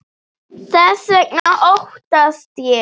Þess vegna óttast ég.